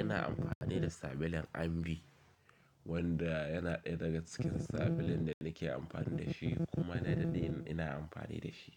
Ina amfani da sabulun Ambi wanda yana ɗaya daga cikin sabulun da nake amfani da shi kuma na daɗe ina amfani da shi.